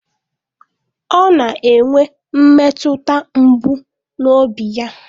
Ọ na-enwe mmetụta mgbu n'obi ya